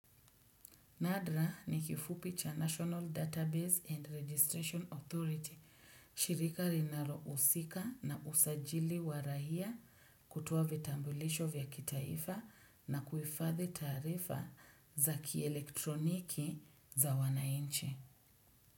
NADRA ni kifupi cha National Database and Registration Authority shirika linalohusika na usajili wa raia kutoa vitambulisho vya kitaifa na kuhifathi taarifa za kielektroniki za wanainchi.